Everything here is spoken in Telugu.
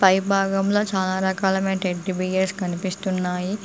పై భాగంలో చాలా రకాల టెడ్డీబియర్స్ కనిపిస్తున్నాయి.